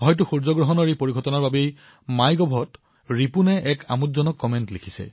এই সূৰ্যগ্ৰহণৰ পৰিঘটনাৰ বাবে বোধহয় মাই গভত ৰিপুণে এক সুন্দৰ মন্তব্য আগবঢ়াইছে